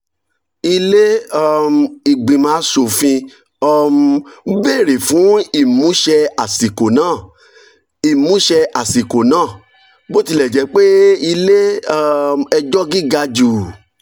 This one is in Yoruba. ilé um ìgbìmọ̀ aṣòfin um béèrè fún ìmúṣẹ àsìkò náà. ìmúṣẹ àsìkò náà. bó tilẹ̀ jẹ́ pé ilé um ẹjọ́ gíga jù